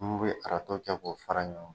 N kun be kɛ k'o fara ɲɔgɔn kan.